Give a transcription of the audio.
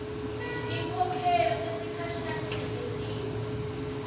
tinkhokhelo tesikhashane tingentiwa